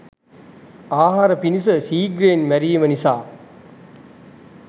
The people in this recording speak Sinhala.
ආහාර පිණිස සීග්‍රයෙන් මැරීම නිසා